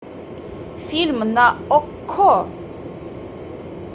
фильм на окко